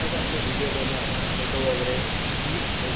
आपले विडिओ बनवू आपण फोटोस वगैरे आपले